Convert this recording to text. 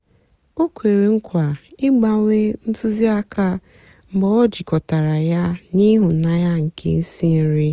ọ kwèrè nkwa ịgbánwè ntụzịàka mgbe ọ jịkọtàra ya na ịhụnanya nkè ísí nri.